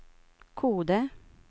Kode